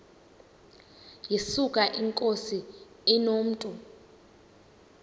yesuka inkosi inomntu